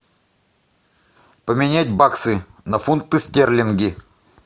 поменять баксы на фунты стерлинги